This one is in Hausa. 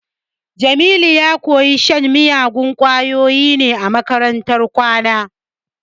Jamilu ya koyi shan miyagun kwayoyi ne a makarantar kwana